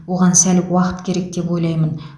оған сәл уақыт керек деп ойлаймын